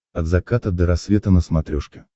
от заката до рассвета на смотрешке